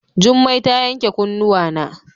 Jummai ta yanke kunnuwana.